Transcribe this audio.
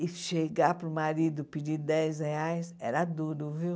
E chegar para o marido pedir dez reais era duro, viu?